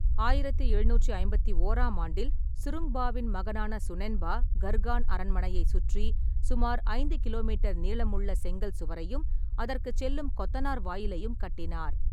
ஆயிரத்து எழுநூற்று ஐம்பத்தி ஒராம் ஆண்டில் சுருங்பாவின் மகனான சுனென்பா, கர்கான் அரண்மனையை சுற்றி சுமார் ஐந்து கிலோமீட்டர் நீளமுள்ள செங்கல் சுவரையும் அதற்குச் செல்லும் கொத்தனார் வாயிலையும் கட்டினார்.